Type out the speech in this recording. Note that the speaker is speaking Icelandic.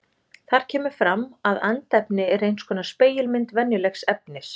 Þar kemur fram að andefni er eins konar spegilmynd venjulegs efnis.